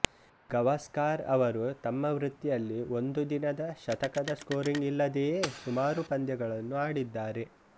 ಗವಾಸ್ಕಾರ್ ಅವರು ತಮ್ಮ ವೃತ್ತಿಯಲ್ಲಿ ಒಂದು ದಿನದ ಶತಕದ ಸ್ಕೋರಿಂಗ್ ಇಲ್ಲದೆಯೇ ಸುಮಾರು ಪಂದ್ಯಗಳನ್ನು ಆಡಿದ್ದಾರೆ